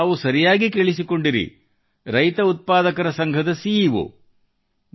ಹೌದು ತಾವು ಸರಿಯಾಗಿ ಕೇಳಿಸಿಕೊಂಡಿರಿ ರೈತ ಉತ್ಪಾದನಾ ಸಂಘದ ಸಿಈಓ